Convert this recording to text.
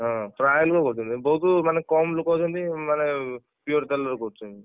ହଁ ପ୍ରାୟ ଲୋକ କରୁଛନ୍ତି ବହୁତ ମାନେ କମ ଲୋକ ଅଛନ୍ତି ମାନେ pure ତେଲରେ କରୁଛନ୍ତି।